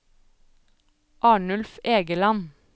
Arnulf Egeland